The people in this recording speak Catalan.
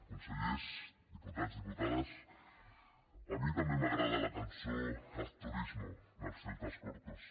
consellers diputats diputades a mi també m’agrada la cançó haz turismo dels celtas cortos